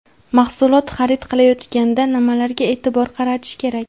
Mahsulot xarid qilayotganda nimalarga e’tibor qaratish kerak?.